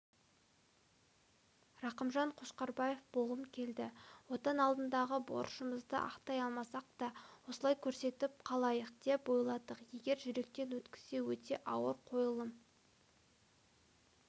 рақымжан қошқарбаев болғым келді отан алдындағы борышымызды ақтай алмасақ та осылай көрсетіп қалайық деп ойладық егер жүректен өткізсе өте ауыр қойылым